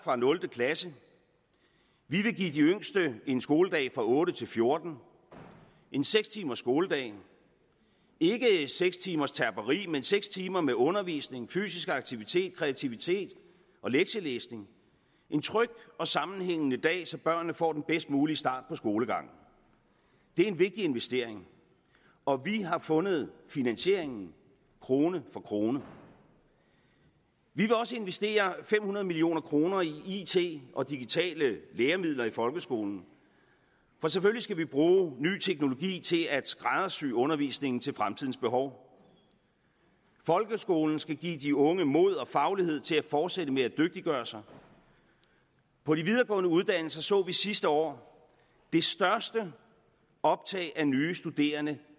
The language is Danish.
fra nul klasse vi vil give de yngste en skoledag fra otte til fjorten en seks timers skoledag ikke seks timers terperi men seks timer med undervisning fysisk aktivitet kreativitet og lektielæsning en tryg og sammenhængende dag så børnene får den bedst mulige start på skolegangen det er en vigtig investering og vi har fundet finansieringen krone for krone vi vil også investere fem hundrede million kroner i it og digitale læremidler i folkeskolen for selvfølgelig skal vi bruge ny teknologi til at skræddersy undervisningen til fremtidens behov folkeskolen skal give de unge mod og faglighed til at fortsætte med at dygtiggøre sig på de videregående uddannelser så vi sidste år det største optag af nye studerende